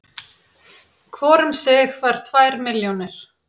Hvor um sig fær tvær milljónir